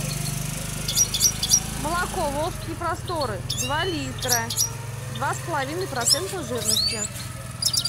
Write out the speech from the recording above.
молоко волжские просторы два литра два с половиной процента жирности